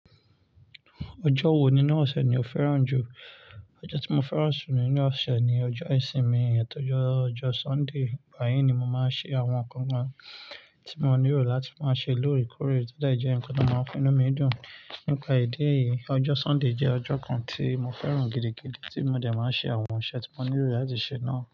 Ọjọ́ wo ni nú ọ̀sẹ̀ ni o fẹ́ràn jù? Ọjọ́ tí mo fẹ́ràn jù nínú ọ̀sẹ̀ ni ọjọ́ ìsinmi, èyí tó jẹ́ ọjọ́ Sunday. Báyìí ni mo máa ń ṣe àwọn nǹkan kan tí mo nílò láti máa ṣe lóòrèkóòrè, tó dẹ̀ jẹ́ ǹkan tó máa ń fi inú mi dùn. Nípa ìdí eyií, ọjọ́ Sunday jẹ́ ọjọ́ kan tí mo fẹ́ràn gidigidi tí mo dẹ̀ máa ń ṣe àwọn ǹṣe tí mo nílò láti ṣe náà.